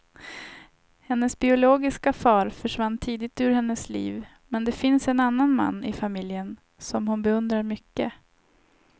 Hennes biologiska far försvann tidigt ur hennes liv, men det finns en annan man i familjen som hon beundrar mycket.